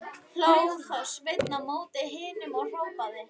Hló þá Sveinn mót himninum og hrópaði: